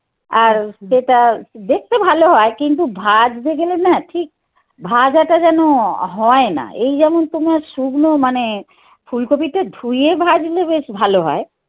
আর যেটা দেখতে ভালো হয় কিন্তু ভাঁজতে গেলে না ঠিক ভাজাটা যেন হয় না. এই যেমন তোমার শুকনো মানে ফুলকপিটা ধুয়ে ভাজলে বেশ ভালো হয়.